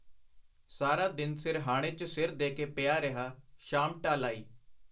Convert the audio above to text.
ਸਾਰਾ ਦਿਨ ਸਿਰਹਾਣੇ 'ਚ ਸਿਰ ਦੇ ਕੇ ਪਿਆ ਰਿਹਾ , ਸ਼ਾਮ ਢਲ ਆਈ .